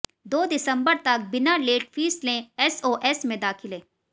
दो दिसंबर तक बिना लेट फीस लेें एसओएस में दाखिले